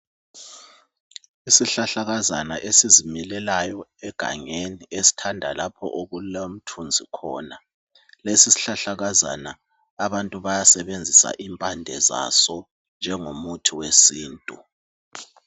Isihlahlakazana esizimilelayo egangeni esithanda lapho okulomthunzi khona. Lesi sihlahlakazana abantu bayasebenzisa impande zaso njengomuthi wesintu.